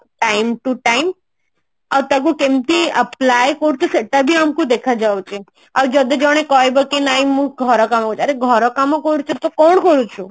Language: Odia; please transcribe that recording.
time to time ଆଉ ତାକୁ କେମତି apply କରୁଛ ସେଟା ବି ଆମକୁ ଦେଖା ଯାଉଛି ଆଉ ଯଦି ଜଣେ କହିବ କି ନାଇଁ ମୁଁ ଘର କାମ କରୁଛି ଆରେ ଘର କାମ କରୁଛୁ ତୁ କଣ କରୁଛୁ